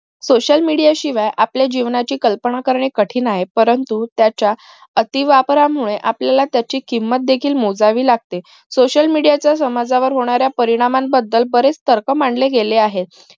social media शिवाय आपल्या जीवनाची कल्पना करणे कठीण आहे परंतु त्याच्या अति वापरामुळे आपल्याला त्याची किंमत देखील मोजावी लागते social media चा समाजावर होणारा परिणामा बदल बरेच तर्क मांडले गेले आहेत